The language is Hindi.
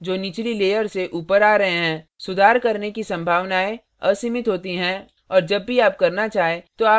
सुधार करने की संभावनाएं असीमित होती हैं और जब भी आप करना चाहें तो आप यह कर सकते हैं